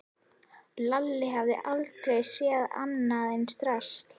Lalli hafði aldrei séð annað eins drasl.